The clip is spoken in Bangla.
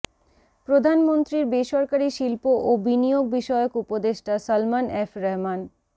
প্রধানমন্ত্রীর বেসরকারি শিল্প ও বিনিয়োগবিষয়ক উপদেষ্টা সালমান এফ রহমান